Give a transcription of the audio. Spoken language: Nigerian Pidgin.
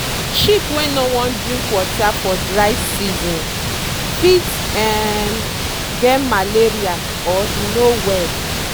sheep wey no wan drink water for dry season fit um get malaria or e no well.